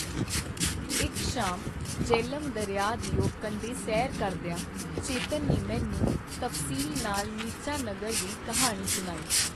ਇਕ ਸ਼ਾਮ ਜਿਹਲਮ ਦਰਿਆ ਦਿਓ ਕੰਢੇ ਸੈਰ ਕਰਦੀਆਂ ਚੇਤਨ ਨੇ ਮੈਨੂੰ ਤਫਸੀਲ ਨਾਲ ਨੀਚਾ ਨਗਰ ਦੀ ਕਿਹਾਣੀ ਸੁਣਾਈ.